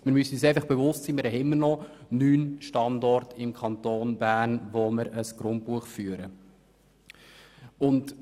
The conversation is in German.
Wir müssen uns einfach bewusst sein, dass wir immer noch neun Standorte im Kanton Bern haben, an denen ein Grundbuch geführt wird.